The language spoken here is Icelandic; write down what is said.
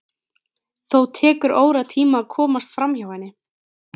Þó tekur óratíma að komast framhjá henni.